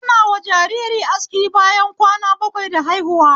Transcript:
Anawa jajiri aski bayan kwana bakwai da haihuwa